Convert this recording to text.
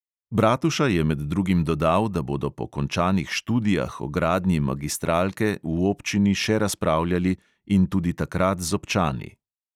Bratuša je med drugim dodal, da bodo po končanih študijah o gradnji magistralke v občini še razpravljali in tudi takrat z občani.